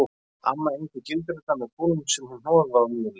Amma egndi gildrurnar með kúlum sem hún hnoðaði úr mjöli